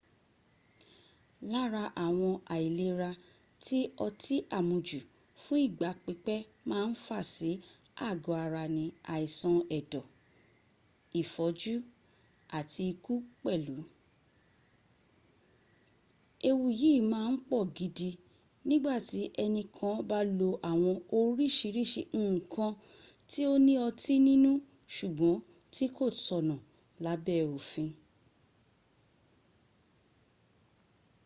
lára àwọn àìlera tí ọtí àmujù fún ìgbà pípẹ́ máa ń fà sí àgọ́ ara ní àìsàn ẹ̀dọ̀ ìfọ́jú àti ikú pẹ̀lú. ewu yìí máa ń pọ̀ gidi nígbàtí ẹnì kan bá lo àwọn oríṣìíríṣìí nǹkan ti ó ní ọtí ninú ṣùgbọ́n tí kò tọ̀nà lábẹ́ òfi